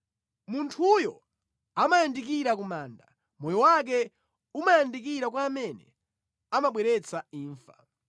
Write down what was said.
Munthuyo amayandikira ku manda, moyo wake umayandikira kwa amene amabweretsa imfa.